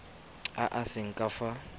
a a seng ka fa